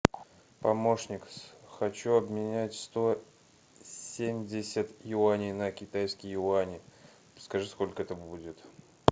помощник хочу обменять сто семьдесят юаней на китайские юани скажи сколько это будет